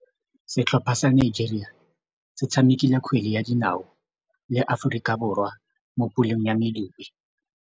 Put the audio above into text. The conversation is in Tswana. Setlhopha sa Nigeria se tshamekile kgwele ya dinaô le Aforika Borwa mo puleng ya medupe.